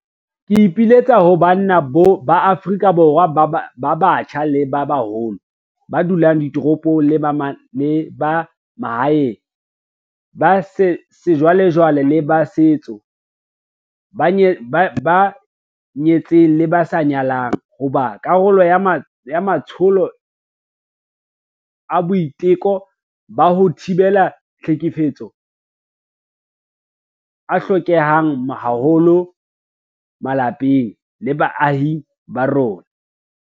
Ke ipiletsa ho banna ba Afrika Borwa ba batjha le ba baholo, ba dulang ditoropong le ba mahaeng, ba sejwalejwale le ba setso, ba nyetseng le ba sa nyalang, ho ba karolo ya matsholo a boiteko ba ho thibela tlhekefetso a hlokehang haholo malapeng le baahing ba rona.